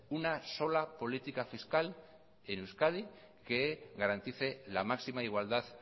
una sola política fiscal en euskadi que garantice la máxima igualdad